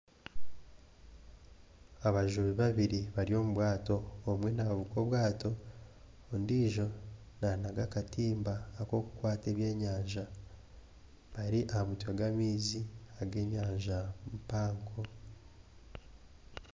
Abajubi babiri bari omubwaato omwe navuga obwaato ondiijo nanaga akatimba akokukwata ebyenyanja bari ahamutwe gwamaizi agenyanja mpango